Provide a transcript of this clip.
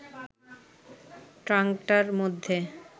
ট্রাঙ্কটার মধ্যে